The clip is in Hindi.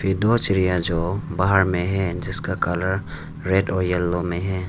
ये दो चिड़िया जो बाहर में है जिसका कलर रेड और येलो में है।